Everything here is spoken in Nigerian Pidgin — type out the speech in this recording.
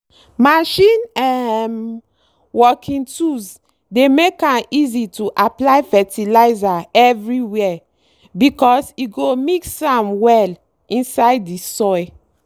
machine um working tools dey make am easy to apply fertilizer everywere because e go mix am well inside the soil.